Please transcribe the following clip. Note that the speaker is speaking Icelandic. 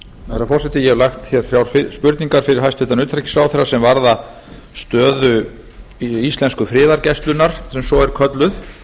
herra forseti ég hef lagt þrjár spurningar fyrir hæstvirtan utanríkisráðherra sem varða stöðu íslensku friðargæslunnar sem svo er kölluð